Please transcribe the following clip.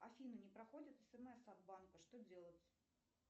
афина не проходят смс от банка что делать